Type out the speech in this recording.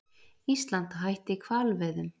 Ísland hætti hvalveiðum